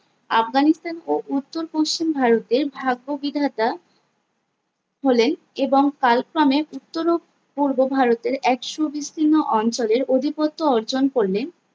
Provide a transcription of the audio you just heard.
আফগানিস্তান ও উত্তর পশ্চিম ভারতের ভাগ্য বিধাতা হলেন এবং কালক্রমে উত্তর ও পূর্ব ভারতের এক সুবিস্তীর্ণ অঞ্চলের অধিপত্য অর্জন করলেন